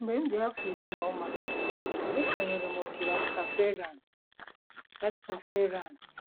Mgbe m dị afọ iri na ụma, esonyere m òtù Rastafarian. Rastafarian.